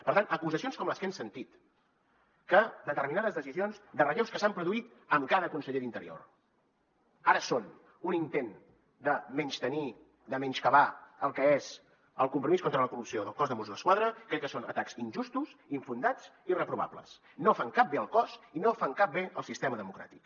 per tant acusacions com les que hem sentit que determinades decisions de relleus que s’han produït amb cada conseller d’interior ara són un intent de menystenir de menyscabar el que és el compromís contra la corrupció del cos de mossos d’esquadra crec que són atacs injustos infundats i reprovables no fan cap bé al cos i no fan cap bé al sistema democràtic